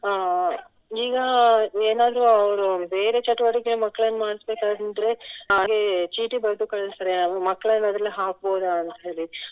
ಅಹ್ ಈಗ ಏನಾದ್ರು ಅವರು ಬೇರೆ ಚಟುವಟಿಕೆ ಮಕ್ಳನ್ನ ಮಾಡ್ಸ್ಬೇಕಂದ್ರೆ ಚೀಟಿ ಬರ್ದು ಕಳ್ಸ್ತಾರೆ ಅವರು ಮಕ್ಳನ್ನು ಅದ್ರಲ್ಲಿ ಹಾಕ್ಬಹುದಾಂತ್ ಹೇಳಿ